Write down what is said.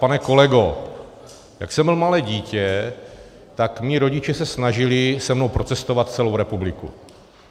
Pane kolego, jak jsem byl malé dítě, tak mí rodiče se snažili se mnou procestovat celou republiku.